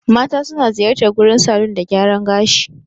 Mata suna ziyartar gurin salon dan gyaran gashi.